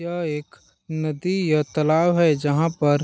यह एक नदी या तलाव है जहाँ पर-- .